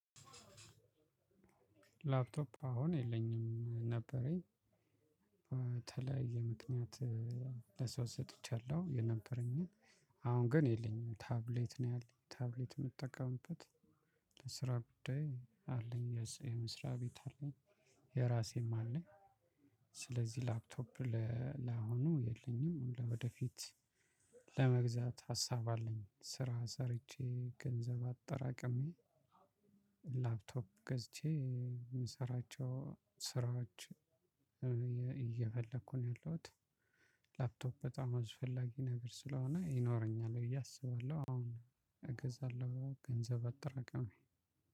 ላፕቶፕ አሁን የለኝም፤ ነበረኝ በተለያየ ምክንያት ለሰው ሰጥቻለሁ የነበረኝን። አሁን ግን የለኝም። ታብሌት ነው ያለኝ። ታብሌት የምጠቀምበት በስራ ጉዳይ አለኝ። የመስሪያ ቤት አለኝ። የራሴም አለኝ። ስለዚህ ላፕቶፕ ላሆኑ የለኝም። ለወደፊት ለመግዛት ሀሳብ አለኝ፤ ስራ ሰርቼ ገንዘብ አጠራቅሜ ላፕቶፕ ገዝቼ የምሰራቸው ስራዎች እየፈለኩ ነው ያለሁት። ላፕቶፕ በጣም አስፈላጊ ነገር ስለሆነ ይኖረኛል ብዬ አስባለሁ። አሁን እገዛለሁ ገንዘብ አጠራቅሜ።